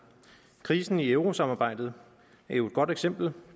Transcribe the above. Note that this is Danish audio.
krisen i eurosamarbejdet er jo et godt eksempel